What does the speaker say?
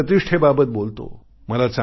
श्रम प्रतिष्ठेबाबत बोलतो